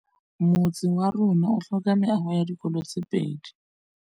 Motse warona o tlhoka meago ya dikolô tse pedi.